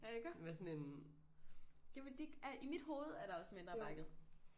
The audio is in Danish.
Ja iggå? Jamen de er i mit hoved er der også mindre bakket